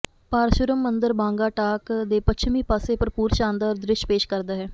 ਪਾਰਸ਼ੂਰਮ ਮੰਦਰ ਬਾਂੰਗਾ ਟਾਕ ਦੇ ਪੱਛਮੀ ਪਾਸੇ ਭਰਪੂਰ ਸ਼ਾਨਦਾਰ ਦ੍ਰਿਸ਼ ਪੇਸ਼ ਕਰਦਾ ਹੈ